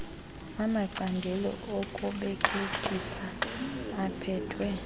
amacandelo okubelekisa aphethwe